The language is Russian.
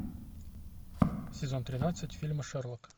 сезон тринадцать фильма шерлок